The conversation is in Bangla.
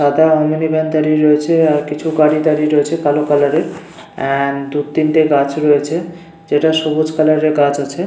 সাদা রঙের মরুতি ভ্যান দাঁড়িয়ে রয়েছে আর কিছু গাড়ি দাঁড়িয়ে রয়েছে কালো কালার এর এন্ড তিনটে গাছ রয়েছে যেটা সবুজ কালার এর গাছ আছে.